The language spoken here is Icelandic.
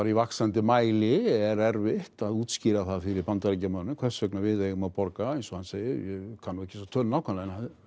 í vaxandi mæli er erfitt að útskýra það fyrir Bandaríkjamönnum hvers vegna við eigum að borga eins og hann segir ég kann ekki þessa tölu nákvæmlega en